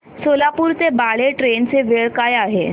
सोलापूर ते बाळे ट्रेन ची वेळ काय आहे